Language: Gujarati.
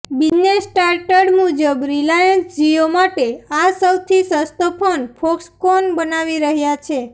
બિઝનેસ સ્ટાન્ડર્ડ મુજબ રિલાયન્સ જીયો માટે આ સૌથી સસ્તો ફોન ફોક્સકોન બનાવી રહ્યા છે